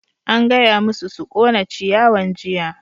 An gaya masu su ƙona ciyawan jiya!